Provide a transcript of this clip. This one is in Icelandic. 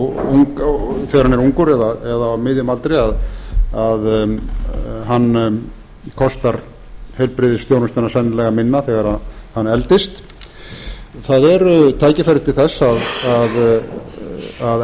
þegar hann er ungur eða á miðjum aldri kostar heilbrigðisþjónustuna sennilega minna þegar hann eldist það eru tækifæri til þess að